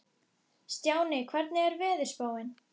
Stjáni, hvernig er veðurspáin?